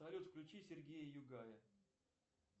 салют включи сергея югая